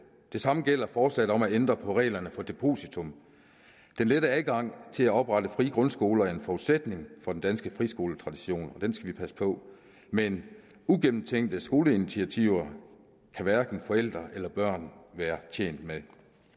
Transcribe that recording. det samme gælder forslaget om at ændre på reglerne for depositum den lette adgang til at oprette frie grundskoler er en forudsætning for den danske friskoletradition og den skal vi passe på men ugennemtænkte skoleinitiativer kan hverken forældre eller børn være tjent med